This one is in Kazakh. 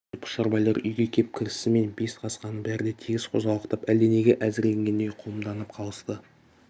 осы пұшарбайлар үйге кеп кірісімен бес қасқаның бәрі де тегіс қозғалақтап әлденеге әзірленгендей қомданып қалысты